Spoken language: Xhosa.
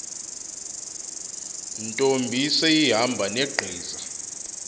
ntombi seyihamba negqiza